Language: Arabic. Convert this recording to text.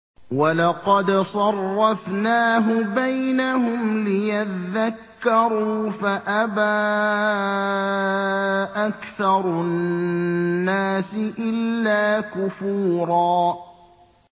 وَلَقَدْ صَرَّفْنَاهُ بَيْنَهُمْ لِيَذَّكَّرُوا فَأَبَىٰ أَكْثَرُ النَّاسِ إِلَّا كُفُورًا